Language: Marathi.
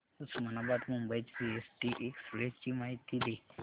उस्मानाबाद मुंबई सीएसटी एक्सप्रेस ची माहिती दे